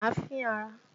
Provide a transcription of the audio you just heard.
Má fín ara!